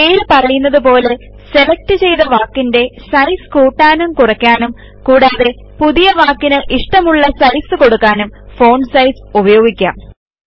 പേര് പറയുന്നതുപോലെ സെലക്ട് ചെയ്ത വാക്കിന്റെ സൈസ് കൂട്ടാനും കുറയ്ക്കാനും കൂടാതെ പുതിയ വാക്കിന് ഇഷ്ടമുള്ള സൈസ് കൊടുക്കാനും ഫോണ്ട് സൈസ് ഉപയോഗിക്കാം